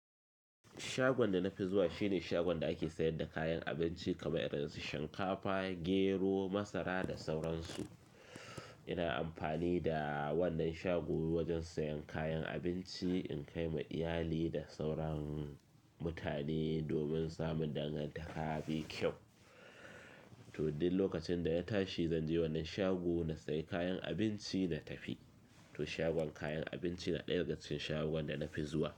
Shagon da na fi zuwa shine shagon da a ake sayar da kayan abinci kamar irin su shinkafa, gero, masara da sauransu. Ina amfani da wannan shago wajen sayan kayan abinci in kai ma iyali da sauran mutane domin samun dangantaƙa me kyau. To, dul lokacin da ya tashi zan je wannan shago na sayi kayan abinci na tafi. To, shagon kayan abinci na ɗaya daga cikin shagon da na fi zuwa.